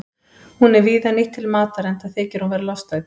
Hún er víða nýtt til matar enda þykir hún vera lostæti.